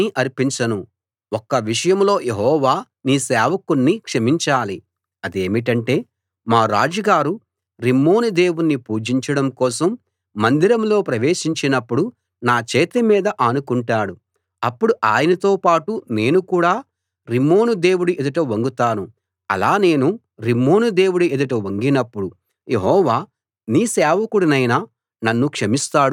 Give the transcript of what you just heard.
ఒక్క విషయంలో యెహోవా నీ సేవకుణ్ణి క్షమించాలి అదేమిటంటే మా రాజుగారు రిమ్మోను దేవుణ్ణి పూజించడం కోసం మందిరంలో ప్రవేశించినప్పుడు నా చేతి మీద ఆనుకుంటాడు అప్పుడు ఆయనతో పాటు నేను కూడా రిమ్మోను దేవుడి ఎదుట వంగుతాను అలా నేను రిమ్మోను దేవుడి ఎదుట వంగినప్పుడు యెహోవా నీ సేవకుడినైన నన్ను క్షమిస్తాడు గాక అన్నాడు